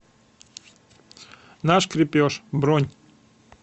наш крепеж бронь